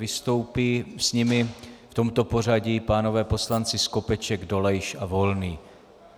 Vystoupí s nimi v tomto pořadí pánové poslanci: Skopeček, Dolejš a Volný.